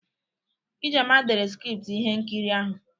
Ijeoma dere skriptu ihe nkiri ahụ.